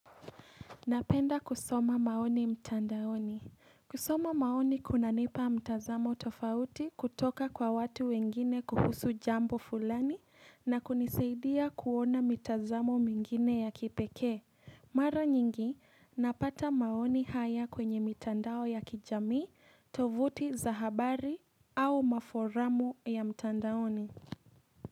Napenda kusoma maoni mtandaoni. Kusoma maoni kunanipa mtazamo tofauti kutoka kwa watu wengine kuhusu jambo fulani na kunisaidia kuona mitazamo mingine ya kipekee. Mara nyingi napata maoni haya kwenye mtandao ya kijamii, tovuti za habari au maforamu ya mtandaoni.